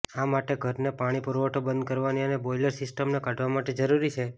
આ માટે ઘરને પાણી પુરવઠો બંધ કરવાની અને બોઈલર સિસ્ટમને કાઢવા માટે જરૂરી છે